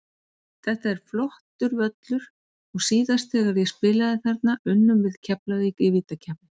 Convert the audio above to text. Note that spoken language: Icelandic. Þetta er flottur völlur og síðast þegar ég spilaði þarna unnum við Keflavík í vítakeppni.